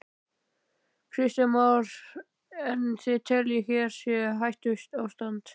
Kristján Már: En þið teljið að hér sé hættuástand?